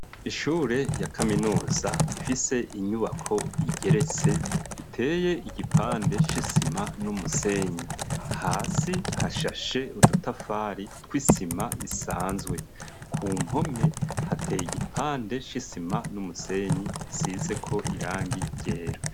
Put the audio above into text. Ishure rya kaminuza ifise inyubako igeretse iteye igipande c'isima n'umusenyi, hasi hashashe udutafari tw'isima isanzwe ,ku mpome hateye igipande c'isima n'umusenyi isizeko irangi ryera.